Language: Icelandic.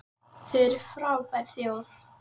Þið eruð frábær þjóð!